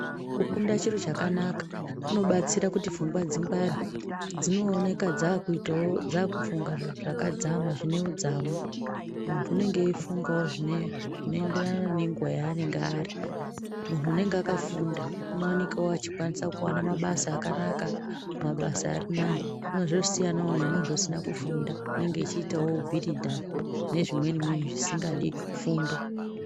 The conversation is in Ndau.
Kufunda chiro chakanaka kunobatsira kuti kuti pfungwa dzingware dzinooneka dzakufunga zviro zvakadzama zvine udzamu. Muntu unenge eifungawo zvinoenderana nenguwa yanenge ari muntu unenge akafunda unowanikawo achikwanisa kuwana mabasa akanaka mabasa anenge ari nani zvinonga zvosiyanwo nemuntu usina kufunda unenge echiitawo bhiridha nezvimweni mweni zvisingadi fundo.